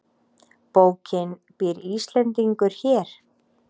Bókin Býr Íslendingur hér?